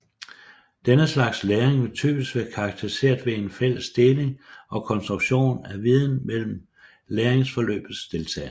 Denne slags læring vil typisk være karakteriseret ved af fælles deling og konstruktion af viden mellem læringsforløbets deltagere